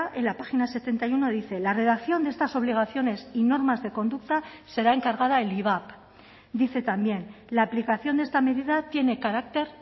en la página setenta y uno dice la redacción de estas obligaciones y normas de conducta será encargada el ivap dice también la aplicación de esta medida tiene carácter